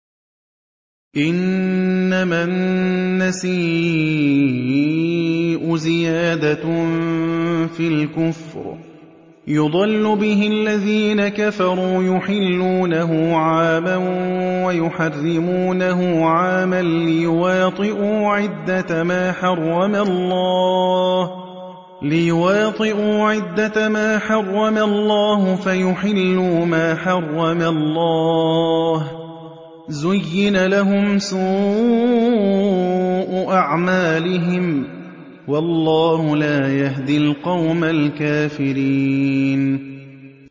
إِنَّمَا النَّسِيءُ زِيَادَةٌ فِي الْكُفْرِ ۖ يُضَلُّ بِهِ الَّذِينَ كَفَرُوا يُحِلُّونَهُ عَامًا وَيُحَرِّمُونَهُ عَامًا لِّيُوَاطِئُوا عِدَّةَ مَا حَرَّمَ اللَّهُ فَيُحِلُّوا مَا حَرَّمَ اللَّهُ ۚ زُيِّنَ لَهُمْ سُوءُ أَعْمَالِهِمْ ۗ وَاللَّهُ لَا يَهْدِي الْقَوْمَ الْكَافِرِينَ